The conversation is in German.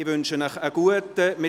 Ich wünsche Ihnen guten Appetit.